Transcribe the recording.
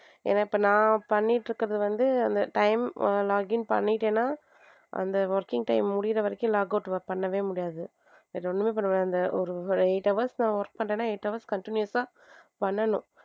ஏன்னா இப்ப நான் பண்ணிட்டு இருக்குறது வந்து அந்த time login பண்ணிட்டேன்னா அந்த working time முடியுற வரைக்கும் logout பண்ணவே முடியாது. வேற ஒண்ணுமே பண்ணமுடியாது அந்த ஒரு eight hours நான் work பண்றேன்னா eight hours continous ஆ பண்ணனும்.